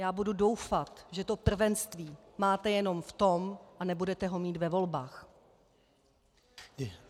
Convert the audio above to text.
Já budu doufat, že to prvenství máte jenom v tom a nebudete ho mít ve volbách.